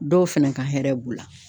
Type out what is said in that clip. Dɔw fɛnɛ ka hɛrɛ b'u la.